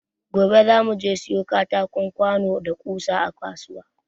Gobe za mu je siyo katako, kwano da ƙusa a kasuwa.